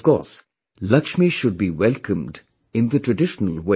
Of course, Laxmi should be welcomed in the traditional way